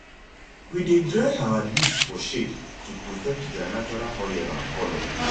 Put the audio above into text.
we dey dry our leaves for shade to protect their natural oil and colour